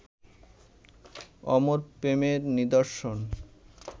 অমর প্রেমের নিদর্শন